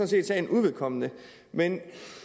set sagen uvedkommende men